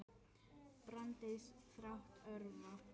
Brands þáttur örva